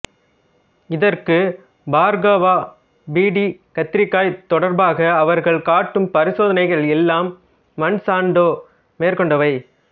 இதற்கு Bhargava B T கத்திரிக்காய் தொடர்பாக அவர்கள் காட்டும் பரிசோதனைகள் எல்லாம் மான்சாண்டோ மேற்கொண்டவை